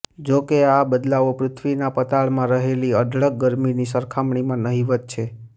જો કે આ બદલાવો પૃથ્વીના પતાળમાં રહેલી અઢળક ગરમીની સરખામણીમાં નહિવત્ છે